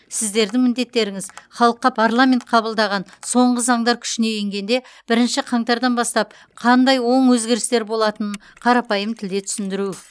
сіздердің міндеттеріңіз халыққа парламент қабылдаған соңғы заңдар күшіне енгенде бірінші қаңтардан бастап қандай оң өзгерістер болатынын қарапайым тілде түсіндіру